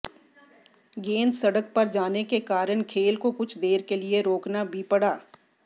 गेंद सड़क पर जाने के कारण खेल को कुछ देर के लिए रोकना भी पड़ा